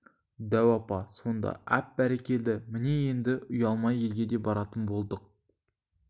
дәу апа сонда әп бәрекелді міне енді үялмай елге де баратын болдық